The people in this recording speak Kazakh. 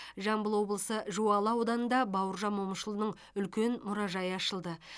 жамбыл облысы жуалы ауданында бауыржан момышұлының үлкен мұражайы ашылды